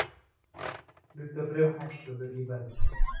Hlutabréf hækkuðu í verði